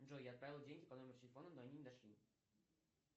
джой я отправил деньги по номеру телефона но они не дошли